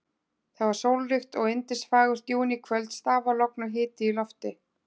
Það var sólríkt og yndisfagurt júníkvöld, stafalogn og hiti í lofti.